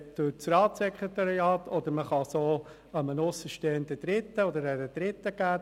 Man kann diesen Auftrag auch an einen aussenstehenden Dritten weitergeben.